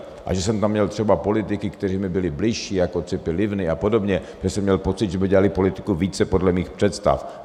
A že jsem tam měl třeba politiky, kteří mi byli bližší, jako Cipi Livni a podobně, že jsem měl pocit, že by dělali politiku více podle mých představ.